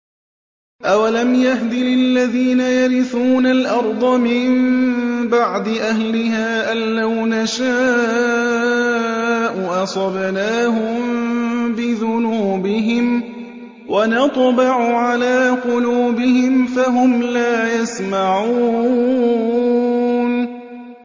أَوَلَمْ يَهْدِ لِلَّذِينَ يَرِثُونَ الْأَرْضَ مِن بَعْدِ أَهْلِهَا أَن لَّوْ نَشَاءُ أَصَبْنَاهُم بِذُنُوبِهِمْ ۚ وَنَطْبَعُ عَلَىٰ قُلُوبِهِمْ فَهُمْ لَا يَسْمَعُونَ